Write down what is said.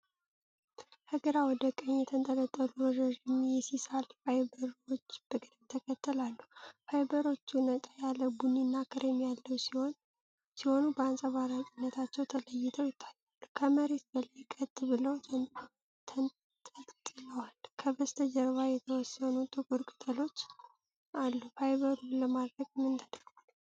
ከግራ ወደ ቀኝ የተንጠለጠሉ ረዣዥም የሲሳል ፋይበርዎች በቅደም ተከተል አሉ። ፋይበሮቹ ነጣ ያለ ቡኒና ክሬም ቀለም ሲሆኑ፣ በአንጸባራቂነታቸው ተለይተው ይታያሉ። ከመሬት በላይ ቀጥ ብለው ተንጠልጥለዋል። ከበስተጀርባ የተወሰኑ ጥቁር ቅጠሎች አሉ። ፋይበሩ ለማድረቅ ምን ተደርጓል?